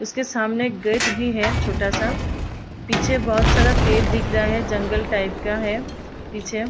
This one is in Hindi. इसके सामने एक गेट भी है छोटा-सा। पीछे बहोत सारा पेड़ दिख रहा है जंगल टाइप का है पीछे।